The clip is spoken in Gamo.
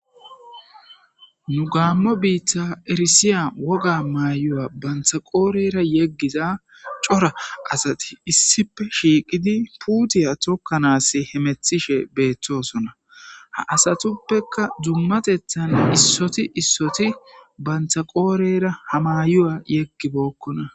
nu gaammo biitta erisiya woga maayuya banthaqoorera yeggiza cora asati issipe shiiqidi puutiya tokkanas hemethishe beettosona ha asatuppeka dummatethan issoti issoti bantha qoorera ha mayuya yeggibookkona